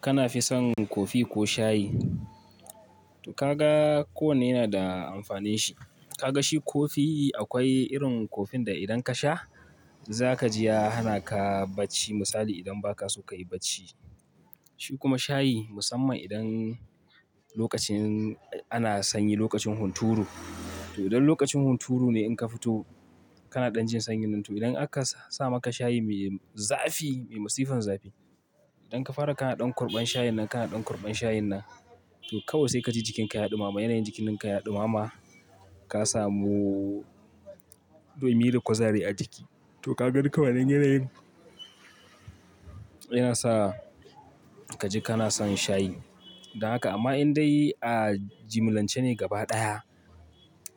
Kana fi son kofi ko shayi? Ka ga kowanne yana da amfanin shi. Ka ga shi kofi akwai irin kofin da idan ka sha za ka ji ya hana ka bacci misali idan ba ka so ka yi bacci. Shi kuma shayi musamman idan lokacin ana sanyi, lokacin hunturu. To idan lokacin hunturu ne in ka fito kana ɗan jin sanyi nan, to idan aka sa maka shayi mai zafi, mai masifan zafi. Idan ka fara kana ɗan kurɓan shayin nan, kana ɗan kurɓan shayin nan, to kawai sai ka ji jikinka ya ɗumama. Yanayin jikinki ya ɗumama ka samu ɗumi da kwazari a jiki. To ka ga duka wannan yanayin yana sa ka ji kana son shayi. Da haka amma indai a jimilance ne gaba ɗaya,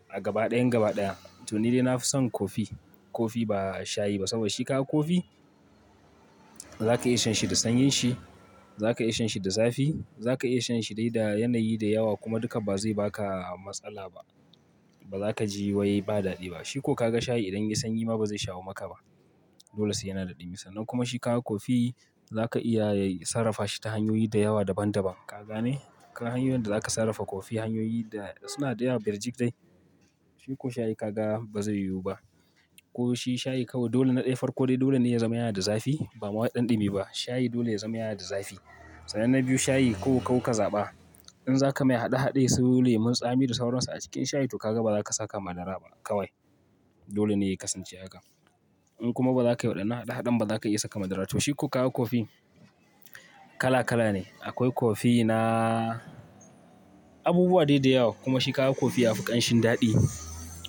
a gaba ɗayan gaba ɗaya to ni dai na fi son kofi. Kofi ba shayi ba saboda shi ka ga kofi za ka iya shan shi da sanyin shi, za ka iya shan shi da zafi, za ka iya shan shi dai da yanayi da yawa kuma duka ba zai ba ka matsala ba. Ba za ka ji wai ba daɗi ba. Shi ko ka ga shayi idan ya sanyi ma ba zai shawo maka ba. Dole sai yana daɗimi. Sannan kuma shi ka ka kofi za ka iya sarrafa shi ta hanyoyi da yawa daban-daban. Ka gane? Ka hanyoyin da za ka sarrafa kofi hanyoyi da suna da yawa, birjik dai. Shi ko shayi ka ga ba zai yiwu ba. Ko shi shayi kawai dole na ɗaya farko dai dole ne ya zama yana da zafi ba ma ɗan ɗimi ba. Shayi dole ya zama yana da zafi. Sannan na biyu shayi ko kau ka zaɓa. In za ka mai haɗe-haɗe su lemun tsami da sauransa a cikin shayi to ka ga ba za ka saka madara ba kawai. Dole ne ya kasance haka. In kuma ba za ka yi wadanan haɗa haɗan ba za ka iya saka madara. To shi ko ka ka kofi kala kala ne. Akwai kofi na abubuwa dai dayawa kuma shi ka ga kofi ya fi ƙanshin daɗi.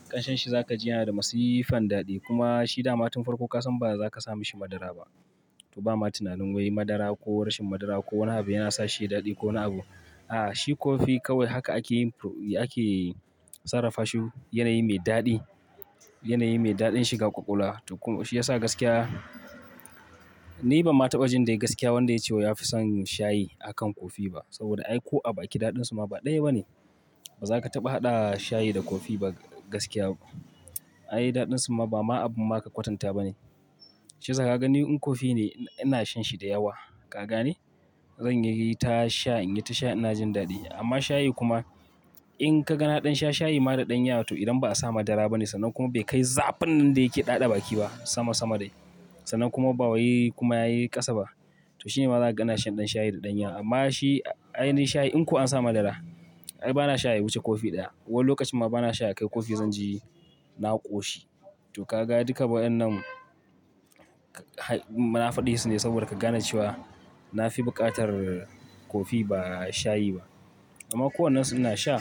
Ƙanshin shi za ka ji yana da masifan daɗi kuma shi dama tun farko ka san ba za ka sa mishi madara ba. To ba ma tunanin wai madara ko rashin madara ko wane abu yana sa shi ya yi daɗi ko wane abu. A'a, shi kofi kawai haka ake yi ake sarrafa shi. Yanayi mai daɗi, yanayi mai daɗin shiga ƙwaƙwalwa to kuma shi ya sa gaskiya ni ban ma taɓa jin dai gaskiya wanda ya ce wai ya fi son shayi akan kofi ba. Saboda ai ko a baki daɗin su ma ba ɗaya ba ne. Ba za ka taɓa haɗa shayi da kofi ba gaskiya. Ai daɗin su ma ba ma abun ma ka kwatanta ba ne. Shiyasa ka gani in kofi ne ina shan shi da yawa. Ka gane? Zan yi ta sha, in yi ta sha ina jin daɗi. Amma shayi kuma in kaga na ɗan sha shayi ma da ɗan yawa toh idan ba a sa madara ba ne sannan kuma bai kai zafin nan da yake ɗaɗa baki ba sama sama dai. Sannan kuma ba wai kuma yayi ƙasa ba. To shi ne ma zaka ga ina shan ɗan shayi da ɗan yaqa. Amma shi ai ni shayi in ko an sa madara ai bana sha ya wuce kofi ɗaya. Wani lokacin ma bana sha ya kai kofi zan ji na ƙoshi. To ka ga duka waɗannan munafadi su ne saboda ka gane cewa na fi buƙatar kofi ba shayi ba. Amma ko wannan su ina sha.